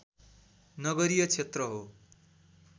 नगरीय क्षेत्र हो